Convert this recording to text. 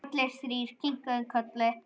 Allir þrír kinkuðu kolli.